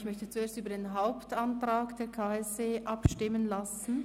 Ich möchte zuerst über den Hauptantrag des KSE Bern abstimmen lassen.